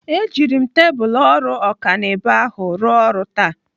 Ejiri m tebụl ọrụ ọkanibo ahụ rụọ ọrụ taa.